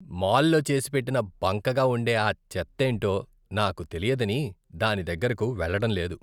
మాల్లో చేసిపెట్టిన బంకగా ఉండే ఆ చెత్త ఏంటో నాకు తెలియదని దాని దగ్గరకు వెళ్ళడం లేదు.